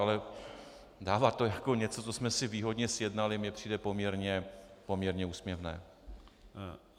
Ale dávat to jako něco, co jsme si výhodně sjednali, mi přijde poměrně úsměvné.